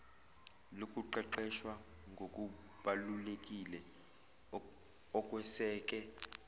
lokuqeqeshwa ngokubalulekile okweseke